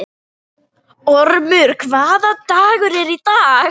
Ormur, hvaða dagur er í dag?